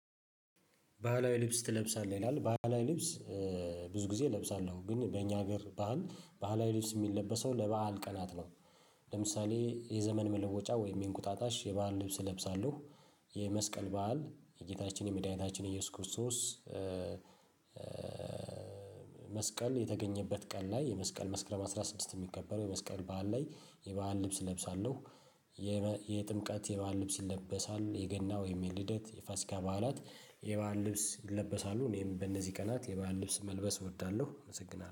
ባህላዊ ልብስ ትለብሳለህ? ይላል ባህላዊ ልብስ ብዙ ጊዜ እለብሳለሁ ግን በእኛ ሀገር ባህል ባህላዊ ልብስ የሚለበሰው ለበአል ቀናት ነው። ለምሳሌ የዘመን መለወጫ ወይም የእንቁጣጣሽ የባህል ልብስ እለብሳለሁ፣ የመስቀል በዓል የጌታችን የመድኃኒታችን ኢየሱስ ክርስቶስ መስቀል የተገኘበት ቀን ላይ የመስቀል መስክረም አስራ ስድስት የሚከበረው የመስቀል በዓል ላይ የበአል ልብስ እለብሳለሁ፣ የጥምቀት የባህል ልብስ ይለበሳል፣ የገና ወይም የልደት የፋስካ በዓላት የባህል ልብስ ይለበሳሉ እኔም በነዚህ ቀናት የባህል ልብስ መልበስ እወዳለሁ አመሰግናለሁ።